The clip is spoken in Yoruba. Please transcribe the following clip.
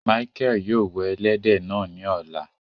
Mícheal yóò wẹ èlẹdẹ náà ni ọ̀lá